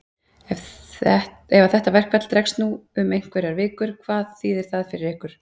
Ef að þetta verkfall dregst nú um einhverjar vikur, hvað þýðir það fyrir ykkur?